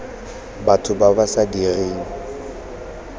batho ba ba sa direng